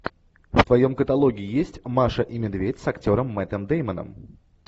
в твоем каталоге есть маша и медведь с актером мэттом дэймоном